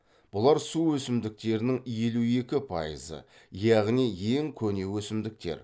бұлар су өсімдіктерінің елу екі пайызы яғни ең көне өсімдіктер